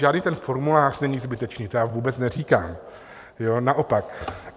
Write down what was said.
Žádný ten formulář není zbytečný, to já vůbec neříkám, naopak.